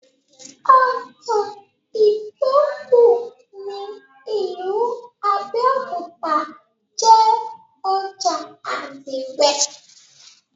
Ojà Ìtòkù ní ìlú Abẹ́òkúta jé ojà àdìrẹ̀.